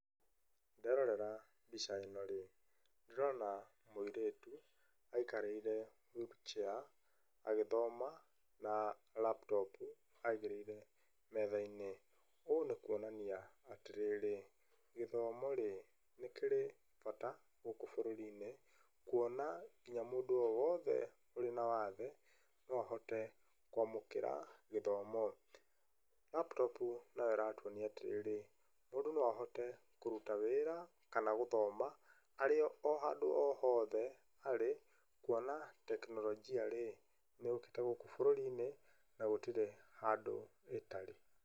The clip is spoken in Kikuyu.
Nderora mbica ĩno-rĩ, ndĩrona mũirĩtu aikarĩire wheelchair agĩthoma na laptop aigĩrĩire metha-inĩ. Ũ nĩ kũonania atĩrĩrĩ, gĩthomo-rĩ nĩ kĩrĩ bata gũkũ bũrũri-inĩ kũona nginya mũndũ o wothe ũrĩ na wathe no ahote kũamũkĩra gĩthomo. laptop nayo ĩratũonia atĩrĩrĩ, mũndũ no ahote kũruta wĩra kana gũthoma arĩ o handũ o hothe arĩ kuona tekinoronjia-rĩ nĩ yũkĩte gũkũ bũrũri-inĩ na gũtirĩ handũ ĩtarĩ.